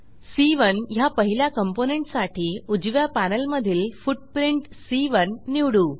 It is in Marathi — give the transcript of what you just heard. सी1 ह्या पहिल्या कॉम्पोनेंट साठी उजव्या पॅनेलमधील फुटप्रिंट सी1 निवडू